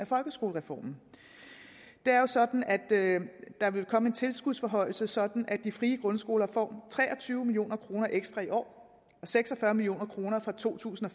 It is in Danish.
folkeskolereformen det er jo sådan at der vil komme en tilskudsforhøjelse sådan at de frie grundskoler får tre og tyve million kroner ekstra i år og seks og fyrre million kroner fra to tusind og